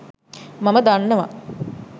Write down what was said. මම දන්නව.